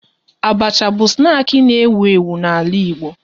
Abacha bụ snaki na ewu ewu n'ala Igbo